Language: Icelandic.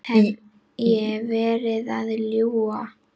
Ég hefði verið að ljúga.